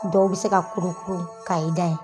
Dɔw be se ka kuru ka i da yen.